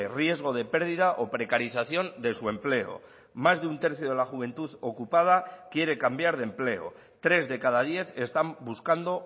riesgo de pérdida o precarización de su empleo más de un tercio de la juventud ocupada quiere cambiar de empleo tres de cada diez están buscando